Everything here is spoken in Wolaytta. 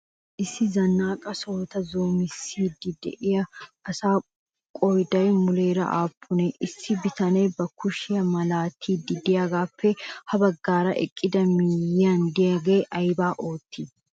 Issi zanaqqa sohota zoommoossidi de'iya asaa qooday muleeraa aappunee? Issi bitanne ba kushiya malatiidi de'iyagaappe ha baggaara eqqidaga miyiyan de'iyagee ayba oottii?